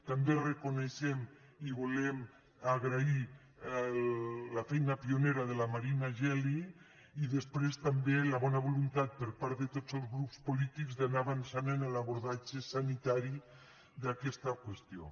també reconeixem i volem agrair la feina pionera de la marina geli i després també la bona voluntat per part de tots els grups polítics d’anar avançant en l’abordatge sanitari d’aquesta qüestió